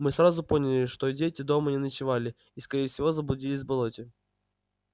мы сразу поняли что дети дома не ночевали и скорее всего заблудились в болоте